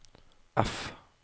F